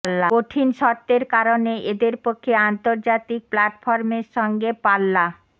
কঠিন শর্তের কারণে এদের পক্ষে আন্তর্জাতিক প্ল্যাটফর্মের সঙ্গে পাল্লা